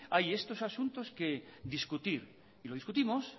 hay estos asuntos que discutir y lo discutimos